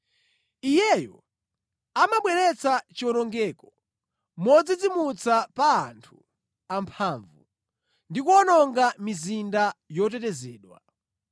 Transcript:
Iyeyo amabweretsa chiwonongeko modzidzimutsa pa anthu amphamvu ndi kuwononga mizinda yotetezedwa),